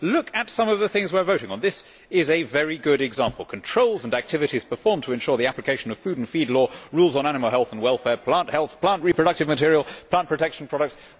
Look at some of the things we are voting on. This is a very good example controls and activities performed to ensure the application of food and feed law, rules on animal health and welfare, plant health, plant reproductive material, plant protection products.